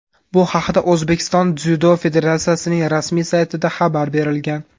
Bu haqda O‘zbekiston dzyudo federatsiyasining rasmiy saytida xabar berilgan .